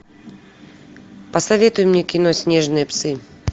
посоветуй мне кино снежные псы